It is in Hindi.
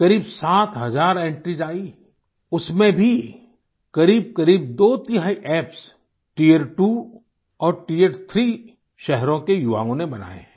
करीब 7 हजार एंट्रीज आईं उसमें भी करीबकरीब दो तिहाई एप्स टियर त्वो और टियर थ्री शहरों के युवाओं ने बनाए हैं